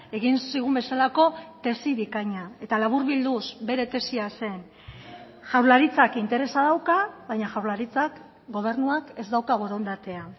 egin zigun bezalako tesi bikaina eta laburbilduz bere tesia zen jaurlaritzak interesa dauka baina jaurlaritzak gobernuak ez dauka borondatea